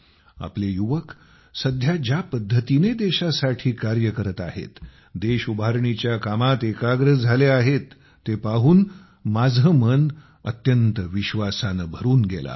आपले युवक सध्या ज्या पद्धतीने देशासाठी कार्य करत आहेत देश उभारणीच्या कामात एकाग्र झाले आहेत ते पाहून माझे मन अत्यंत विश्वासाने भरून गेले आहे